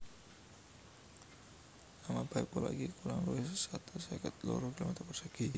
Amabane pulo iki kurang luwih satus seket loro kilometer persegi